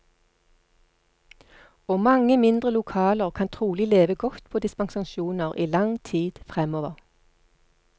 Og mange mindre lokaler kan trolig leve godt på dispensasjoner i lang tid fremover.